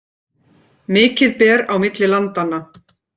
Mikið ber á milli landanna